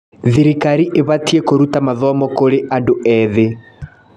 Thirikari ĩbatiĩ kũruta mathomo kũrĩ andũ ethĩ.